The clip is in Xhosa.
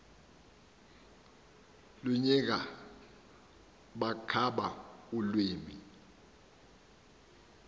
luyinka bankaba ulwimi